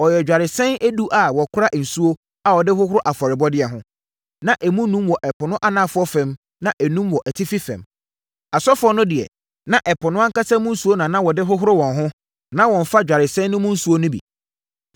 Ɔyɛɛ dwaresɛn edu a wɔkora nsuo a wɔde hohoro afɔrebɔdeɛ ho. Na emu enum wɔ Ɛpo no anafoɔ fam na enum wɔ atifi fam. Asɔfoɔ no deɛ, na Ɛpo no ankasa mu nsuo na na wɔde hohoro wɔn ho, na wɔmmfa dwaresɛn no mu nsuo no bi.